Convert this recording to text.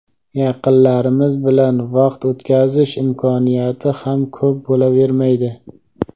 yaqinlarimiz bilan vaqt o‘tkazish imkoniyati ham ko‘p bo‘lavermaydi.